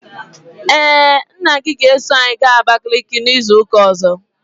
Ee, nna gị ga-eso anyị gaa Abakaliki izu ụka ọzọ.